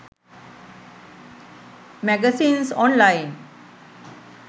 magazines online